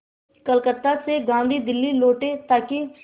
कलकत्ता से गांधी दिल्ली लौटे ताकि